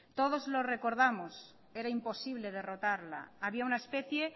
todos lo recordamos era imposible derrotarla había una especie